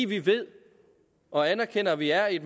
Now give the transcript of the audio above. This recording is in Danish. vi ved og anerkender at vi er i